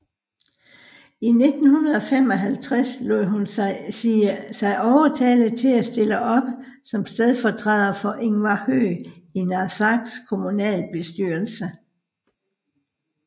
I 1955 lod hun sige overtale til at stille op som stedfortræder for Ingvar Høegh i Narsaqs kommunalbestyrelse